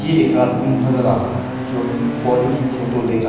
ये एक आदमी नजर आ रहा है जो अपनी बॉडी की फोटो ले रहा--